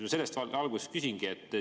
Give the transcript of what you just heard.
Selles valguses küsingi.